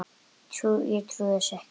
Ég trúi þessu ekki!